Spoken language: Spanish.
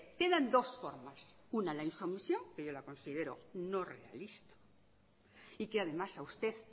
quedan dos formas una la insumisión que yo la considero no realista y que además a usted